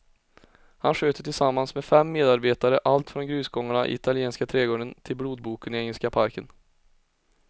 Han sköter tillsammans med fem medarbetare allt från grusgångarna i italienska trädgården till blodboken i engelska parken.